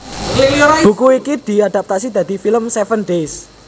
Buku iki diadaptasi dadi film Seven Days